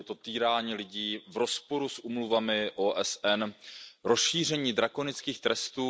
Je to týrání lidí v rozporu s úmluvami OSN, rozšíření drakonických trestů.